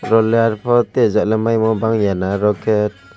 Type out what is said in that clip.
oro leyar po tei jalem mai mo bangya na aro ke.